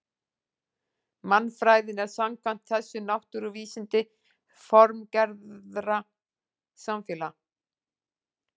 Mannfræðin er samkvæmt þessu náttúruvísindi formgerðar samfélaga.